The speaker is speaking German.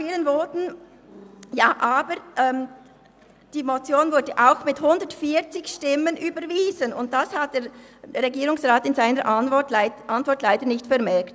Die Motion wurde auch mit 140 Stimmen überwiesen, und das hat der Regierungsrat in seiner Antwort leider nicht vermerkt.